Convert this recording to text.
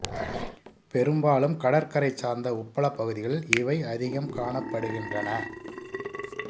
பெரும்பாலும் கடற்கரைச் சார்ந்த உப்பளப் பகுதிகளில் இவை அதிகம் காணப்படுகின்றன